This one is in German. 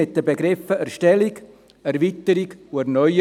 Sie dreht sich um die Begriffe Erstellung, Erweiterung und Erneuerung.